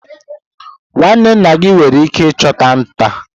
nwanne nna gị nwere ike ịchụ nta?